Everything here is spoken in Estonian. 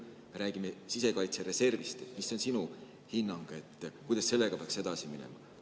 Kui me räägime sisekaitsereservist, siis mis on sinu hinnang, kuidas sellega peaks edasi minema?